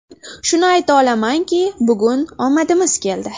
Shuni ayta olamanki, bugun omadimiz keldi.